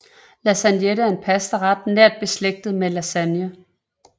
Lasagnette er en pastaret nært beslægtet med lasagne